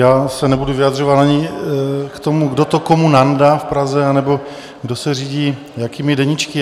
Já se nebudu vyjadřovat ani k tomu, kdo to komu nandá v Praze, anebo kdo se řídí jakými deníčky.